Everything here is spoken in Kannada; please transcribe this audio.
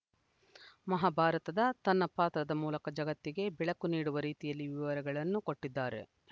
ಮಹಾಭಾರತದ ತನ್ನ ಪಾತ್ರದ ಮೂಲಕ ಜಗತ್ತಿಗೆ ಬೆಳಕು ನೀಡುವ ರೀತಿಯಲ್ಲಿ ವಿವರಗಳನ್ನು ಕೊಟ್ಟಿದ್ದಾರೆ